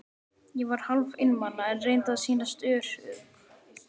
Ég var hálf einmana, en reyndi að sýnast ör- ugg.